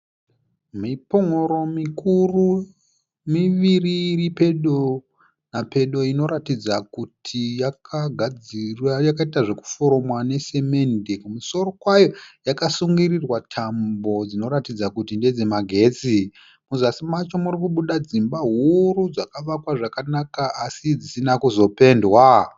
Mipun'uro mikuru miviri iri pedo napedo inoratidza kuti yakaita zvekuforomwa nesemende. Kumusoro kwayo yakasungirirwa tambo dzinoratidza kuti ndedzamagetsi. Muzasi macho muriikubuda dzimba huru dzakavakwa zvakanaka así dzisina kuzopendwa.